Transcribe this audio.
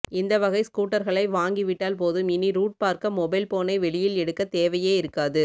இந்த வகை ஸ்கூட்டர்களை வாங்கி விட்டால் போதும் இனி ரூட் பார்க்க மொபைல் ஃபோனை வெளியில் எடுக்கத் தேவையே இருக்காது